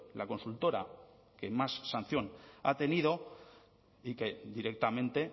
la consultora que más sanción ha tenido y que directamente